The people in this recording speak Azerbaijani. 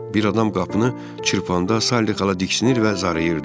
Bir adam qapını çırpanda Saliqala diksinir və zarayırdı.